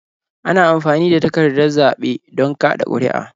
Ana amfani da takardar zaɓe don kaɗa ƙuri'a.